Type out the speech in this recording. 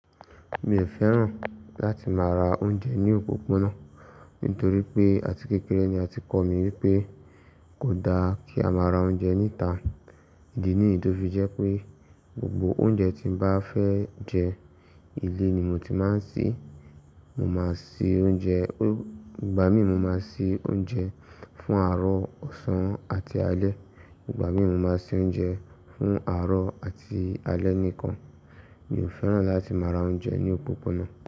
Mi ò fẹ́ràn láti máa ra oúnjẹ ní òpópónà nítorí pé àti kékeré ni a ti kọ̀ mí wípé kò da kí a má ra oúnjẹ ní ìta. Ìdí ní yí tó fi jẹ́ pé gbogbo oúnjẹ tí m bá fẹ́ jẹ, ilé ni mo ti máa ń se. Mo máa ṣe oúnjẹ, fún ìgbà mi mo máa se oúnjẹ fún àárọ̀, ọ̀sán àti alẹ́. Ìgbà mìí mo máa se oúnjẹ fún àárọ̀ àti alẹ́ nìkan. Mi ò fẹ́ràn láti máa ra oúnjẹ ní òpópónà.